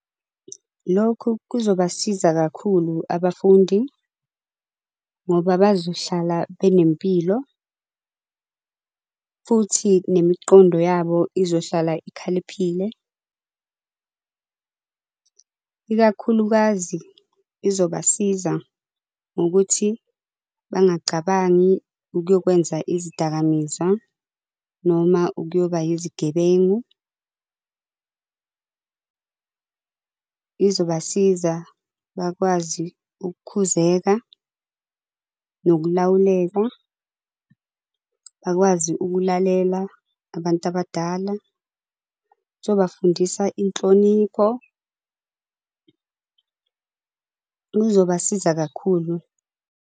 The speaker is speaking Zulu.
Lokhu kuzobasiza kakhulu abafundi, ngoba bazohlala benempilo, futhi nemiqondo yabo izohlala ikhaliphile. Ikakhulukazi izobasiza ngokuthi bangacabangi ukuyokwenza izidakamizwa, noma ukuyoba izigebengu. Izobasiza bakwazi ukukhuzeka, nokulawuleka. Bakwazi ukulalela abantu abadala. Izobafundisa inhlonipho. Uzobasiza kakhulu.